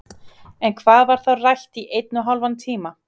En hvað var þá rætt í einn og hálfan tíma?